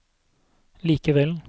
likevel